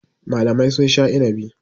Malamai sun sha inabi.